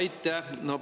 Aitäh!